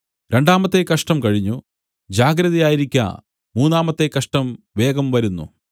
രണ്ടാമത്തെ കഷ്ടം കഴിഞ്ഞു ജാഗ്രതയായിരിക്ക മൂന്നാമത്തെ കഷ്ടം വേഗം വരുന്നു